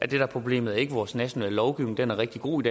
der er problemet er vores nationale lovgivning den er rigtig god